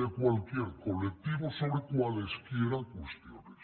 de cualquier colectivo sobre cualesquiera cuestiones